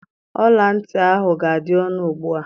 Ọla ntị ahụ ga-adị ọnụ ugbu a